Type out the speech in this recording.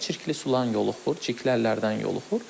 Çirkli sulardan yoluxur, çirkli əllərdən yoluxur.